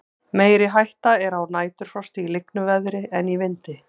meiri hætta er á næturfrosti í lygnu veðri en í vindi